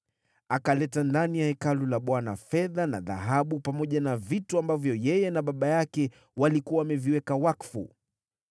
Akaleta ndani ya Hekalu la Bwana fedha na dhahabu na vile vyombo ambavyo yeye na baba yake walikuwa wameviweka wakfu.